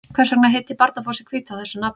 Hvers vegna heitir Barnafoss í Hvítá þessu nafni?